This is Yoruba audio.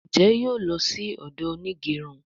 Njé yóò ló sì odo Onigerun?